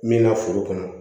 Min na foro kɔnɔ